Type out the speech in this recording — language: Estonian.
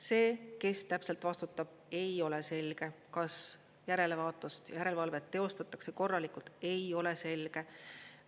See, kes täpselt vastutab, ei ole selge, kas järelevaatust, järelevalvet teostatakse korralikult, ei ole selge.